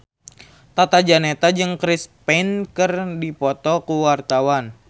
Tata Janeta jeung Chris Pane keur dipoto ku wartawan